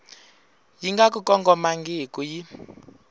yi nga ku kongomangiki yi